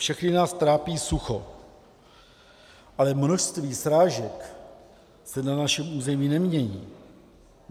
Všechny nás trápí sucho, ale množství srážek se na našem území nemění.